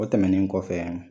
O tɛmɛnen kɔfɛ